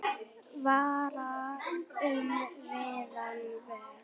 Fara um víðan völl.